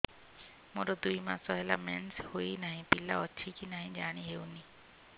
ମୋର ଦୁଇ ମାସ ହେଲା ମେନ୍ସେସ ହୋଇ ନାହିଁ ପିଲା ଅଛି କି ନାହିଁ ଜାଣି ହେଉନି